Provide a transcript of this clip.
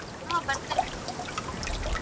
ಹ್ಮ್ ಬರ್ತೀನಿ.